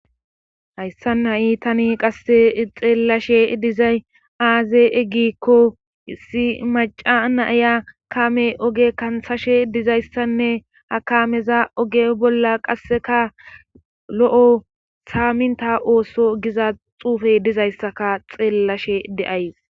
Hayssa na7i tani qasse xeellashe dizay aaze eggikko issi maca naaya kaame oge kansashe dizayssanne akameza oge bolla qasseka lo7o saaminta ooso giza xuufey dizayssaka xeellashe deays